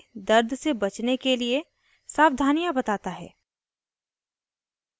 * cold drinks जिनमें citric acid की % ज़्यादा होती है